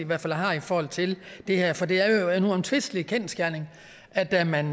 hvert fald har i forhold til det her for det er jo en uomtvistelig kendsgerning at da man